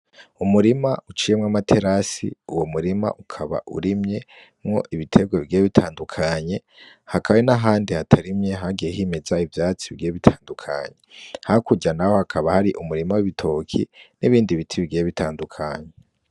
Umurima uciyemwo amaterasi, uwo murima ukaba urimyemwo ibiterwa bigiye bitandukanye, hakaba hari nahandi hatarimye hagiye himeza ivyatsi bigiye bitandukanye, hakurya naho hakaba hari umurima w'ibitoki nibindi biti bigiye bitandukanye.